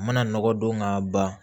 Mana nɔgɔ don ka ban